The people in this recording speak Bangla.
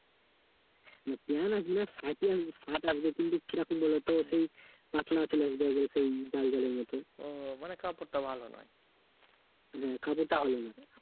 না প্যান্ট আসবে না shirt ই আসবে shirt আসবে। কীরকম বলো তো? সেই পাতলা চলে আসবে একবারে সেই জ্যালজ্যালে মত, হ্যাঁ কাপড়টা ভালো না